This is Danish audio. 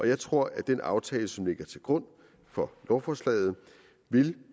jeg tror at den aftale som ligger til grund for lovforslaget vil